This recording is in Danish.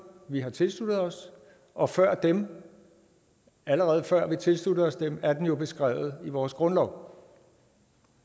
vi har tilsluttet os og før dem allerede før vi tilsluttede os dem er valgretten jo beskrevet i vores grundlov